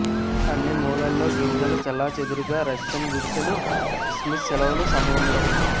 అన్ని మూలల్లో గింజలు చెల్లాచెదురుగా రష్యన్ గుడిసెలు క్రిస్మస్ సెలవులు సమయంలో